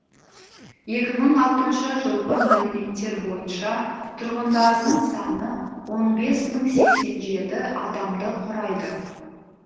екі мың алтыншы жылғы мәліметтер бойынша тұрғындарының саны он бес мың сексен жеті адамды құрайды